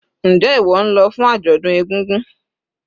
Njé ìwó nlo fún àjòdún egúngún?